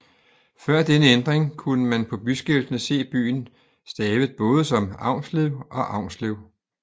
Før denne ændring kunne man på byskiltene se byen stavet både som Avnslev og Aunslev